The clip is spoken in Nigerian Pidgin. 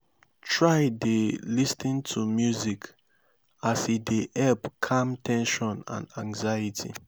try dey lis ten to music as e dey help calm ten sion and anxiety